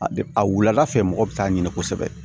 A bɛ a wulada fɛ mɔgɔ bɛ taa ɲini kosɛbɛ